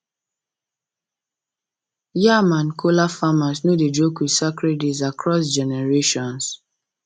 yam and kola farmers no dey joke with sacred days across generations